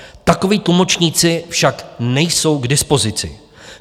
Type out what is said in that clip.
Takoví tlumočníci však nejsou k dispozici.